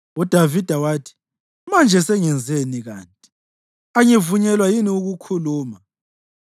UDavida wathi, “Manje sengenzeni kanti? Angivunyelwa yini ukukhuluma?”